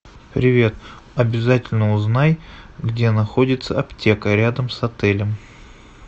привет обязательно узнай где находится аптека рядом с отелем